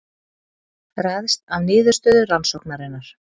Ræðst af niðurstöðu rannsóknarinnar